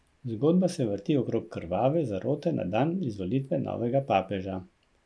Zgodba se vrti okrog krvave zarote na dan izvolitve novega papeža.